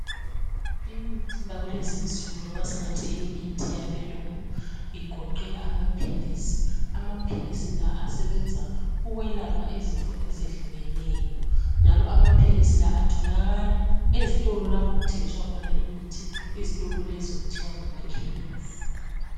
Imithi yakulezi insuku loba singathi imithi yabelungu ingoqela amaphilisi. Amaphilisi la asebenza ukwelapha izifo ezehlukeneyo. Njalo amaphilisi la atholakala ezitolo lapho okuthengiswa khona imithi. Izitolo lezo kuthiwa ngamakhemisi.